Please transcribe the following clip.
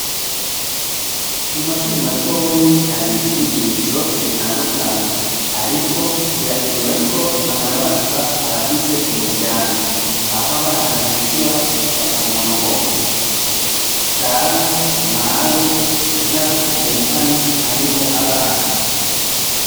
Mu mashure matonya har'inyigisho zitandukanye ariko birakenewe ko banababaza abagize umuryango, ah'abana bishura bakavuga ngo dawe; mawe n'abo tuvukana aribo abana.